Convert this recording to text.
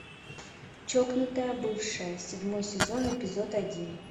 чокнутая бывшая седьмой сезон эпизод один